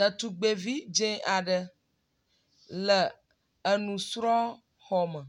Ɖetugbevi dze aɖe le enusrɔ̃xɔ me